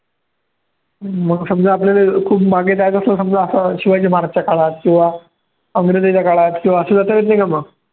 मग समजा आपल्याले खूप मागे जायचं असलं समजा असं शिवाजी महाराजच्या काळात किंवा अंग्रेजाच्या काळात किंवा